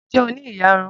Ǹ jẹ́ o ní ìyarun?